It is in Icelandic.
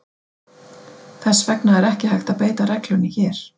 Þess vegna er ekki hægt að beita reglunni hér.